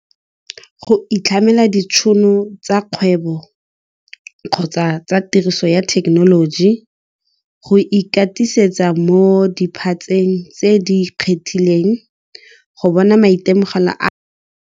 Go itlhamela ditšhono tsa kgwebo kgotsa tsa tiriso ya thekenoloji go ikatisetsa mo dipatseng tse di kgethileng go bona maitemogelo a .